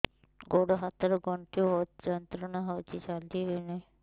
ଗୋଡ଼ ହାତ ର ଗଣ୍ଠି ବହୁତ ଯନ୍ତ୍ରଣା ହଉଛି ଚାଲି ହଉନାହିଁ